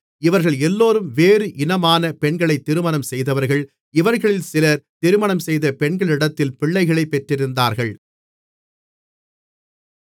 இவர்கள் எல்லோரும் வேறு இனமான பெண்களைத் திருமணம் செய்தவர்கள் இவர்களில் சிலர் திருமணம்செய்த பெண்களிடத்தில் பிள்ளைகளைப் பெற்றிருந்தார்கள்